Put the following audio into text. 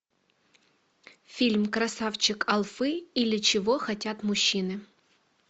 фильм красавчик алфи или чего хотят мужчины